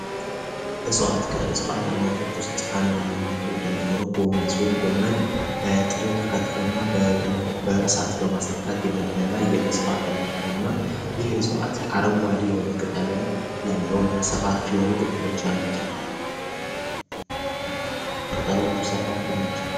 እጽዋት አይነቶች ውስጥ ተወዳጅ የሆነው ጎመን ሲሆን ተከትፎ እና በእሳት በማስነካት የሚበላ የእጽዋት አይነት ነው ይህም አረንጓዴ የሆኑ ቅጠሎች ያሉት ነው ቅጠሎቹ ሰፋፊ ናቸው።